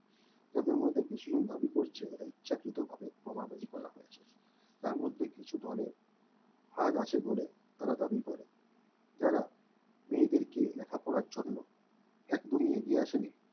তাদের মধ্যে কিছু জন দাবী করছে ইচ্ছাকৃতভাবে প্রমাণ তার মধ্যে কিছু বলেন third আছে বলে তারা দাবি করে যারা মেয়েদের কে লেখাপড়ার জন্য একদমই এগিয়ে